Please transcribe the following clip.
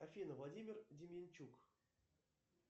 афина владимир деменчук